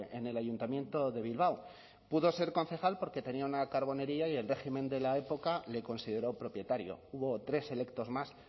en el ayuntamiento de bilbao pudo ser concejal porque tenía una carbonería y el régimen de la época le consideró propietario hubo tres electos más